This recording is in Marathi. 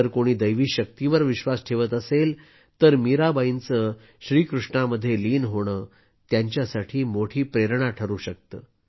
जर कोणी दैवी शक्तीवर विश्वास ठेवत असेल तर मीराबाईचे श्रीकृष्णामध्ये लीन होणे त्याच्यासाठी मोठी प्रेरणा ठरू शकते